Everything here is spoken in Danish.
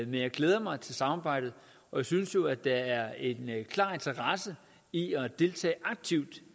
jeg glæder mig til samarbejdet jeg synes jo at der er en klar interesse i at deltage aktivt